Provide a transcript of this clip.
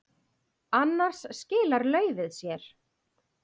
Annars skilar laufið sér.